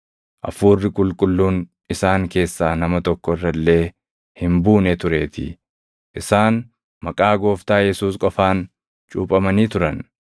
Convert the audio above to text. Hafuuri Qulqulluun isaan keessaa nama tokko irra illee hin buune tureetii; isaan maqaa Gooftaa Yesuus qofaan cuuphamanii turan.